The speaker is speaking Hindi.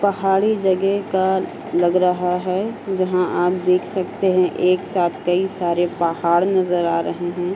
पहाड़ी जगह का लग रहा है जहाँ आप देख सकते हैं एक साथ कई सारे पहाड़ नजर आ रहे हैं।